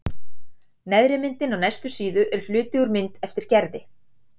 Neðri myndin á næstu síðu er hluti úr mynd eftir Gerði.